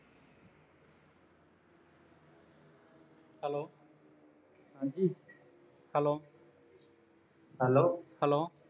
hello ਹਾਂ ਜੀ hello hello